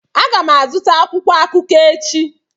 Aga m azụta akwụkwọ akụkọ echi.